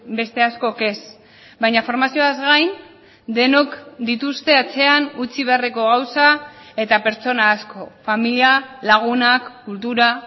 beste askok ez baina formazioaz gain denok dituzte atzean utzi beharreko gauza eta pertsona asko familia lagunak kultura